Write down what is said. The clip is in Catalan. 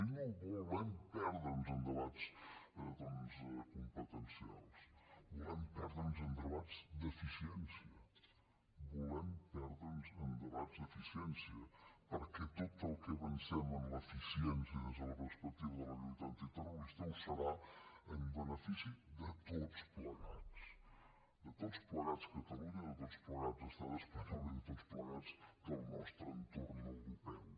i no volem perdre’ns en debats competencials volem perdre’ns en debats d’eficiència volem perdre’ns en debat d’eficiència perquè tot el que avancem en l’eficiència des de la perspectiva de la lluita antiterrorista ho serà en benefici de tots plegats de tots plegats catalunya de tots plegats estat espanyol i de tots plegats del nostre entorn europeu